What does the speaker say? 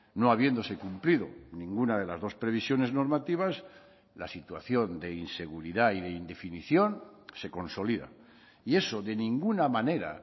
no habiéndose cumplido ninguna de las dos previsiones normativas la situación de inseguridad y de indefinición se consolida y eso de ninguna manera